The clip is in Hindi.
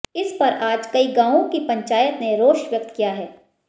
इस पर आज कई गांवों की पंचायत ने रोष व्यक्त किया है